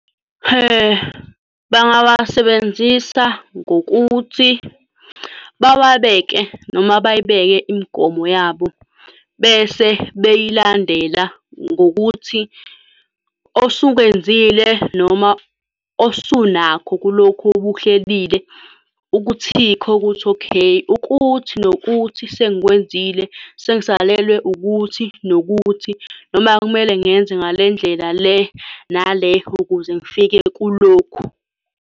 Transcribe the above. Bangawasebenzisa ngokuthi bawabeke, noma bayibeke imigomo yabo, bese beyilandela ngokuthi osukwenzile, noma osunakho kulokhu obukuhlelile ukuthikhe ukuthi yikho ukuthi, okay, ukuthi nokuthi, sengikwenzile. Sengisalelwe ukuthi nokuthi, noma kumele ngenze ngale ndlela le, nale, ukuze ngifike kulokhu.